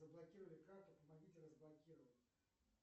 заблокировали карту помогите разблокировать